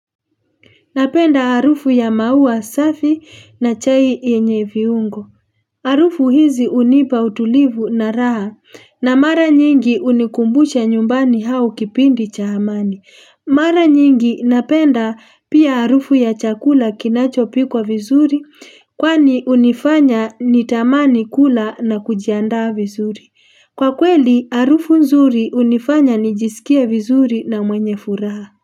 Napenda harufu ya maua safi na chai yenye viungo. Harufu hizi unipa utulivu na raha. Na mara nyingi unikumbusha nyumbani hao kipindi cha amani. Mara nyingi napenda pia harufu ya chakula kinachopikwa vizuri, kwani unifanya nitamani kula na kujiandaa vizuri. Kwa kweli, harufu nzuri unifanya nijisikie vizuri na mwenye furaha.